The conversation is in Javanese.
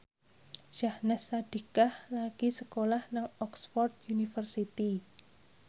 Syahnaz Sadiqah lagi sekolah nang Oxford university